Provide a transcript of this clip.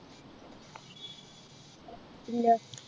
ഇല്ല